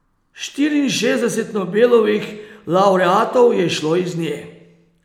Štiriinšestdeset Nobelovih lavreatov je izšlo iz nje.